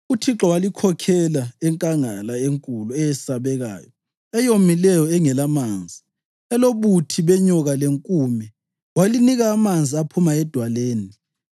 UThixo walikhokhela enkangala enkulu eyesabekayo, eyomileyo engelamanzi, elobuthi benyoka lenkume. Walinika amanzi aphuma edwaleni.